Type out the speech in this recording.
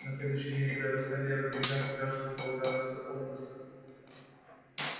на следующий день ребята стали разъезжаться каждому полагался отпуск